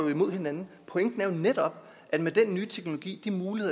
jo imod hinanden pointen er jo netop at den nye teknologi